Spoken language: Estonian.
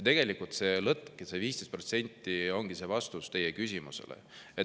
Tegelikult see lõtk ja see 15% ongi vastus teie küsimusele.